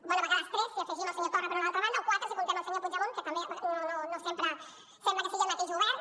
bé a vegades tres si hi afegim el senyor torra per una altra banda o quatre si comptem el senyor puigdemont que també no sempre sembla que sigui el mateix govern